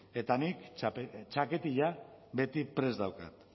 eta nik txaketilla beti prest daukat